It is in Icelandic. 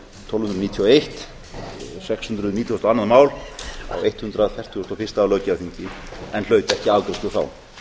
tólf hundruð níutíu og eitt sex hundruð nítugasta og annað mál á hundrað fertugasta og fyrsta löggjafarþingi en hlaut ekki afgreiðslu þá